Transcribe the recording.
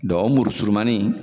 Dɔ o muru surunmanin